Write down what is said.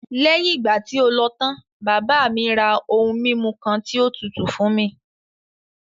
Léyìn ìgbà tí o lọ tán, bàbá mi ra ohun mímu kan tí ó tutù fún mi.